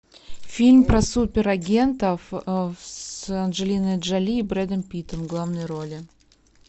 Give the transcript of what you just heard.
фильм про суперагентов с анджелиной джоли и брэдом питтом в главной роли